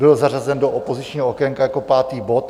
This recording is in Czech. Byl zařazen do opozičního okénka jako pátý bod.